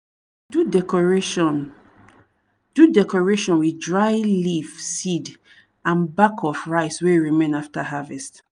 we dey do decoration do decoration with dry leaf seed and back of rice wey remain after harvest.